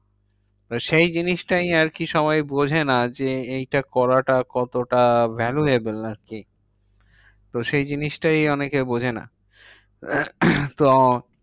সেই জিনিসটাই আরকি সবাই বোঝেনা যে, এইটা করাটা কতটা valuable আরকি? তো সেই জিনিসটাই আরকি অনেকে বোঝে না। তো